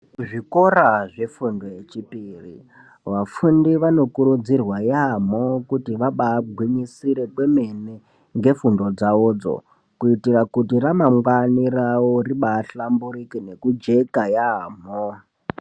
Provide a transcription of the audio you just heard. Zvikora zvefundo yechipiri vafundi vanokurudzirwa yambo kuti vabagwinyisire kwemene ngefundo dzawodzo kuitira kuti ramangwani ribahlamburuke nekujeka yambo.